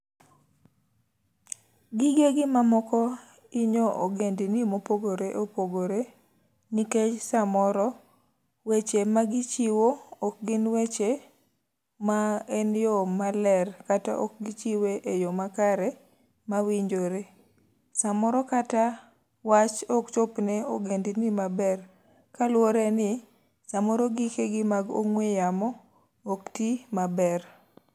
Gigegi ma moko inyo ogendni mopogore opogore, nikech samoro weche ma gichiwo ok gin weche ma en yo ma ler, kata ok gichiwe e yo makare ma winjore. Samoro kata wach ok chop ne ogendni maber, kaluwore ni samoro gike gi mag ong'we yamo ok ti maber.